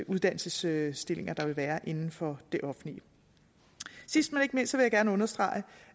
uddannelsesstillinger der vil være inden for det offentlige sidst men ikke mindst vil jeg gerne understrege